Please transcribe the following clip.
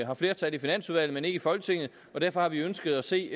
har flertal i finansudvalget men ikke i folketinget og derfor har vi ønsket at se